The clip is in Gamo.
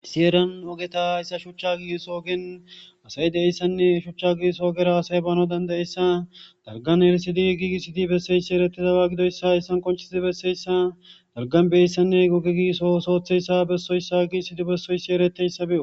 Issi herrani hayissa shucha gigisso oggeni assayi deyessane . Shucha ogge giggiso ogera asayi banau dandayissani daligane erisidi gigisidi beseyisi eritidaba godoyisa hayisani qoncisidi beseyisa daligani gigisone ogge besoyisa gigisidi beseyisa beyosi